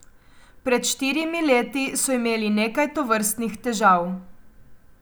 Pred štirimi leti so imeli nekaj tovrstnih težav.